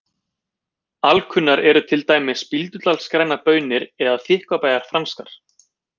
Alkunnar eru til dæmis Bíldudals grænar baunir eða Þykkvabæjar franskar.